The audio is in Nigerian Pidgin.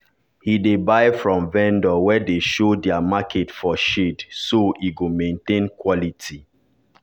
he dey buy from vendor wey dey show their market for shade so e go maintain quality.